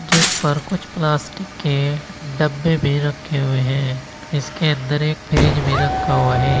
जिस पर कुछ प्लास्टिक के डब्बे भी रखे हुए हैं इसके अंदर एक फ्रिज भी रखा हुआ है।